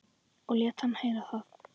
Og lét hann heyra það.